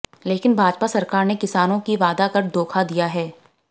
लेकिन भाजपा सरकार ने किसानों की वादा कर धोखा दिया है